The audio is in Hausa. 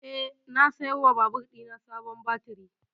Eh, na saya wa babur ɗina sabon baturi